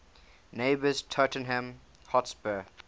neighbours tottenham hotspur